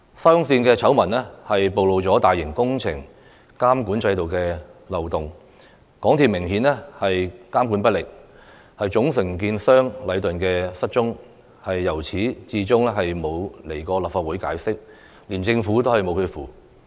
沙中線醜聞曝露了大型工程監管制度的漏洞，港鐵公司明顯監管不力，總承建商禮頓建築有限公司"失蹤"，至今也沒有前來立法會解釋，連政府也拿它沒辦法。